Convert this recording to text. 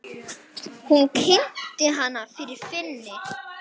Hún kynnti hana fyrir Finni.